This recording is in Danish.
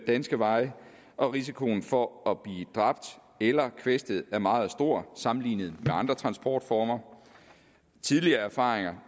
danske veje risikoen for at blive dræbt eller kvæstet er meget stor sammenlignet med andre transportformer tidligere erfaringer